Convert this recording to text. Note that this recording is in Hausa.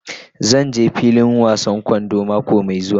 Zan je filin wasan kwando mako mai zuwa.